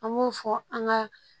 An m'o fɔ an ka